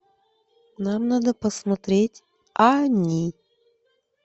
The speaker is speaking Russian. нам надо посмотреть они